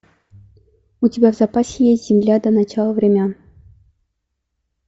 у тебя в запасе есть земля до начала времен